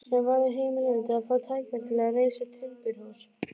sem varð himinlifandi að fá tækifæri til að reisa timburhús.